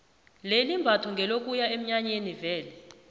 leli imbatho ngelokuya eminyanyeni vele